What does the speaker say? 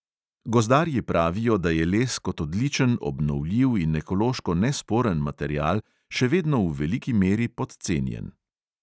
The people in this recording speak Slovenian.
Gozdarji pravijo, da je les kot odličen, obnovljiv in ekološko nesporen material še vedno v veliki meri podcenjen.